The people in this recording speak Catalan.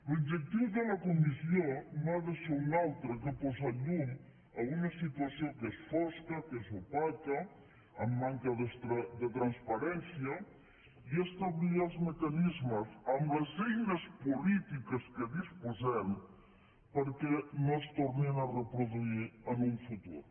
l’objectiu de la comissió no ha de ser un altre que posar llum a una situació que és fosca que és opaca amb manca de transparència i establir els mecanismes amb les eines polítiques de què disposem perquè no es tornin a reproduir en un futur